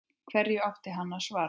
Hverju átti hann að svara?